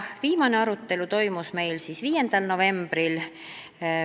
Viimane arutelu toimus 5. novembril.